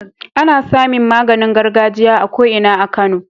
Ana samin maganin gargajiya a ko Ina a kano